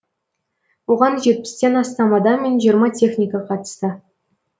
оған жетпістен астам адам мен жиырма техника қатысты